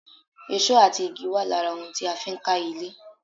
Èsó àti igi wà lára ohun tí a fi ń ka ilé